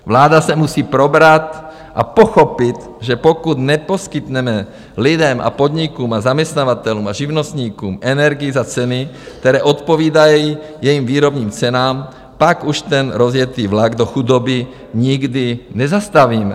Vláda se musí probrat a pochopit, že pokud neposkytneme lidem a podnikům a zaměstnavatelům a živnostníkům energii za ceny, které odpovídají jejím výrobním cenám, pak už ten rozjetý vlak do chudoby nikdy nezastavíme.